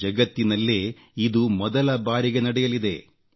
ಜಗತ್ತಿನಲ್ಲೇ ಇದು ಮೊದಲ ಬಾರಿಗೆ ನಡೆಯಲಿದೆ